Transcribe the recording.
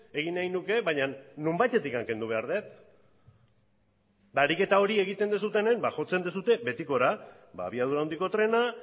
egin nahi nuke baina nonbaitetik kendu behar dut ariketa hori egiten duzuenean jotzen duzue betikora abiadura handiko trena